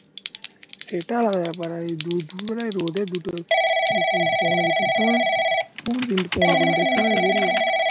সেটা হয়ে বড় এই দুপরে রোদে পৌনে দুটো সময় পৌনে তিনটে সময় বেরিয়ে